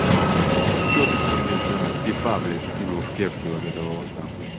что ты там мне за типа блять скинул в кепке вот это вот нахуй